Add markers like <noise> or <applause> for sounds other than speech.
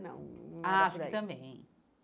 <unintelligible> Acho que também.